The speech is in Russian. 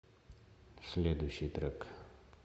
следующий трек